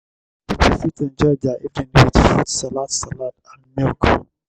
pipo fit enjoy their evening with fruit salad salad and milk